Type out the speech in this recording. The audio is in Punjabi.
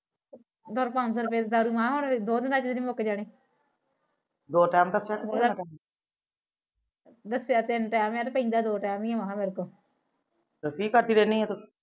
ਉਹਦੀ ਪੰਜ ਸੋ ਰੁਪਏ ਦੀ ਦਾਰੂ ਆ ਉਹ ਤਾ ਦੋ ਦਿਨਾ ਚ ਮੁਕ ਜਾਣੀ ਦੱਸਿਆ ਤਿੰਨ ਟੈਮ ਆ ਤੇ ਪੀਦਾ ਦੋ ਟੈਮ ਈ ਆ ਫਿਰ ਕੀ ਕਰਦੀ ਰਹਿੰਦੀ ਆ ਤੂੰ